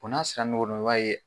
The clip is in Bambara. O n'a sera o b'a ye